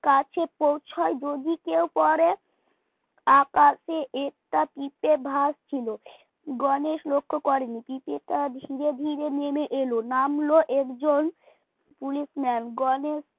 কাছে পৌঁছায় যদি কেউ পড়ে আকাশে একটা পিপে ভাসছিল গণেশ লক্ষ্য করেনি পিপেটা ধীরে ধীরে নেমে এলো নামলো একজন police man গনেশ